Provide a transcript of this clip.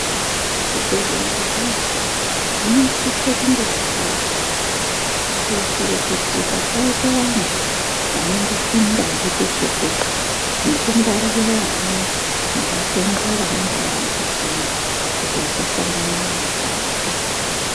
Zvibhedhlera zveshe zvinosisa kunge zvakaakirwa kuitire kuti pasaite vanthu vqnongopinda ngepeshe-peshe, nekungwarire vana nevatenda vanenge vari mukatimwo kuti vasasangana nematambudziko.